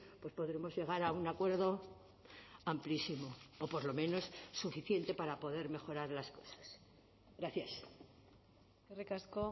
pues podremos llegar a un acuerdo amplísimo o por lo menos suficiente para poder mejorar las cosas gracias eskerrik asko